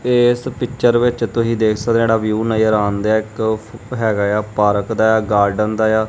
ਤੇ ਇਸ ਪਿਚਰ ਵਿੱਚ ਤੁਸੀਂ ਦੇਖ ਸਕਦੇ ਹੋ ਜਿਹੜਾ ਵਿਊ ਨਜ਼ਰ ਆਉਣ ਡਿਆ ਇੱਕ ਹੈਗਾ ਐ ਪਾਰਕ ਦਾ ਐ ਗਾਰਡਨ ਦਾ ਐ।